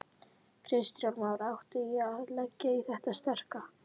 Kristján Már: Ætti ég að leggja í þetta sterka?